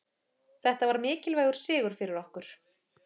Þetta var mikilvægur sigur fyrir okkur.